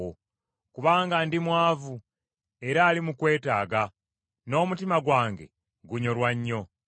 Kubanga ndi mwavu era ali mu kwetaaga, n’omutima gwange gunyolwa nnyo.